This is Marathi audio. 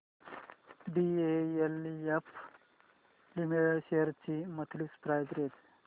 डीएलएफ लिमिटेड शेअर्स ची मंथली प्राइस रेंज